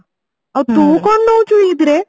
ଆଉ ତୁ କଣ ନଉଛୁ ଇଦ ରେ